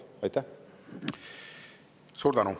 Suur tänu!